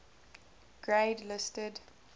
grade listed